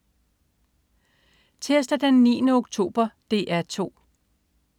Tirsdag den 9. oktober - DR 2: